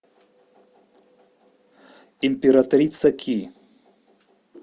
императрица ки